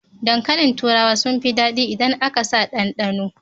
Dankalin turawa sun fi daɗi idan aka sa ɗanɗano.